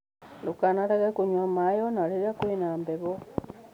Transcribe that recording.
Ndũkanareke kũnyua maĩ, o na rĩrĩa kũrĩ na heho.